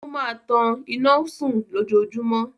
Ó máa tan ìnáwó sùn lójoojúmọ́.